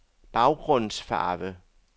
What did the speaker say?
baggrundsfarve